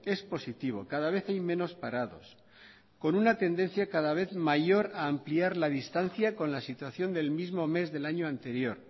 es positivo cada vez hay menos parados con una tendencia cada vez mayor a ampliar la distancia con la situación del mismo mes del año anterior